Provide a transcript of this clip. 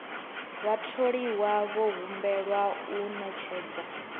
vhatholiwa vho humbelwa u ṅetshedza